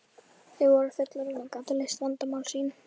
Þau voru fullorðin og gátu leyst vandamál sín.